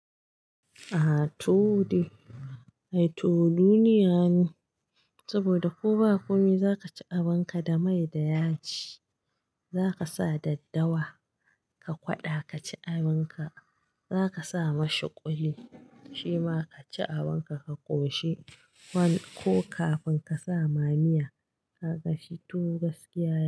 A to de, a to duniya ne saboda ko ba ku mi za ka ci abinka da mai da yaji, za ka sa daddawa, ka kwaɗa ka ci abinka. Za ka sa mashi kuli shima ka ci abinka ka koshi ko kafin ka sa ma miya ka ga shi tuwo gaskiya.